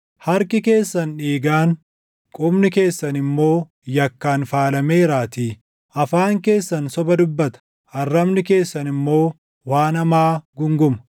Harki keessan dhiigaan, qubni keessan immoo yakkaan faalameeraatii. Afaan keessan soba dubbata; arrabni keessan immoo waan hamaa guunguma.